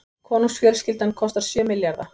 Konungsfjölskyldan kostar sjö milljarða